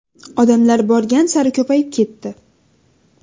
Odamlar borgan sari ko‘payib ketdi.